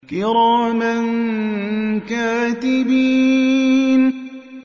كِرَامًا كَاتِبِينَ